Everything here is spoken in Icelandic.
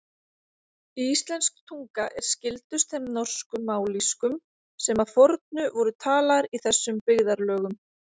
Íslensk tunga er skyldust þeim norsku mállýskum sem að fornu voru talaðar í þessum byggðarlögum.